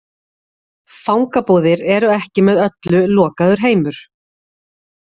Fangabúðir eru ekki með öllu lokaður heimur.